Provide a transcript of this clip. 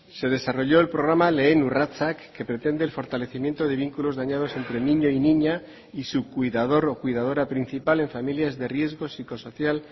se desarrolló el programa lehen urratsak que pretende el fortalecimiento de vínculos dañados entre niño y niña y su cuidador o cuidadora principal en familias de riesgos psicosocial